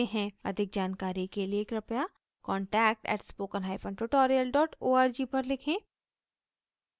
अधिक जानकारी के लिए कृपया contact @spokentutorial org पर लिखें